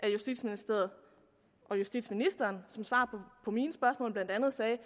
justitsministeriet og justitsministeren som svar på mine spørgsmål blandt andet sagde